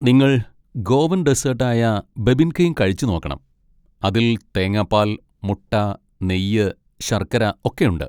നിങ്ങൾ ഗോവൻ ഡെസ്സേട്ട് ആയ ബെബിൻകേയ്ൻ കഴിച്ചുനോക്കണം. അതിൽ തേങ്ങാപ്പാൽ, മുട്ട, നെയ്യ്, ശർക്കര ഒക്കെയുണ്ട്.